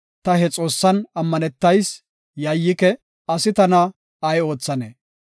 ta he Xoossan ammanetayis; yayyike. asi tana ay oothannee?